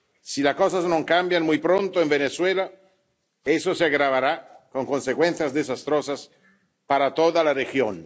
Si las cosas no cambian muy pronto en Venezuela, se agravará con consecuencias desastrosas para toda la región.